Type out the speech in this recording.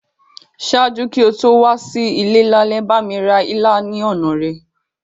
Ṣaaju ki o to wa si ile lálẹ́, bámi ra ilá ni ọna rẹ.